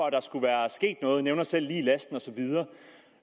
at der skulle være sket noget han nævner selv lig i lasten og så videre